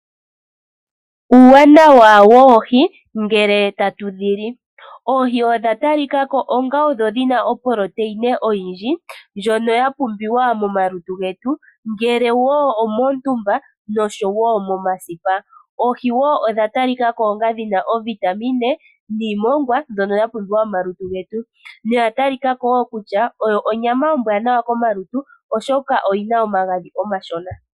Uuwanawa woohi ngele tatu dhili. Oohi odha talikako onga odho dhina oproteina oyindji ndjono ya pumbiwa momalutu getu ngele woo omoontumba noshowo momasipa . Oohi woo odha talikako onga dhina o Vitamine niimongwa mbyono ya pumbiwa momalutu getu mbyono ya talikako woo kutya oyo onyama ombwanawa komalutu oshoka oyina omagadhi omashona.